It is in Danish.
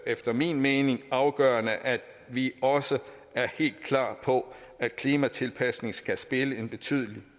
efter min mening afgørende at vi også er helt klar på at klimatilpasning skal spille en betydelig